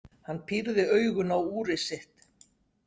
Hann pírði augun á úrið sitt.